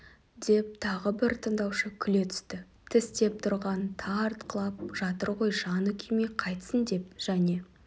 деп тағы бір тыңдаушы күле түсті тістеп тұрғанын тартқылап жатыр ғой жаны күймей қайтсін деп және